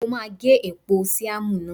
Mo máa gé èpò síámù náà.